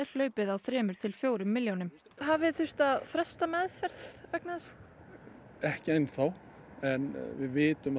hlaupið á þremur til fjórum milljónum hafið þið þurft að fresta meðferð vegna þessa ekki enn þá við vitum